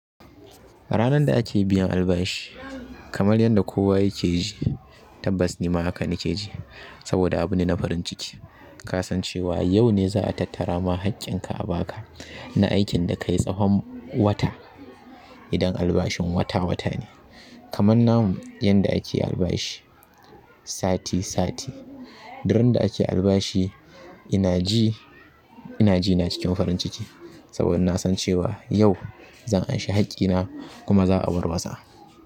Ranar da ake biyan albashi kamar yadda kowa yake ji tabbas ni ma haka nake ji saboda abune na farin ciki. Ka san cewa yau ne za a tattara ma haƙƙin ka a baka na aikin da kayi tsahon wata idan albashin wata-wata ne. Kamar namu yadda ake albashi sati-sati. Duk randa ake yin albashi ina ji, ina ji ina cikin farin ciki saboda na san cewa yau zan anshi haƙƙina kuma za a warwasa.